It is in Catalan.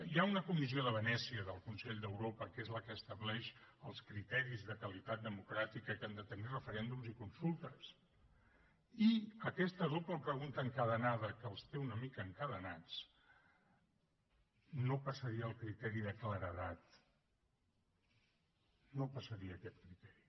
hi ha una comissió de venècia del consell d’europa que és la que estableix els criteris de qualitat democràtica que han de tenir referèndums i consultes i aquesta doble pregunta encadenada que els té una mica encadenats no passaria el criteri de claredat no el passaria aquest criteri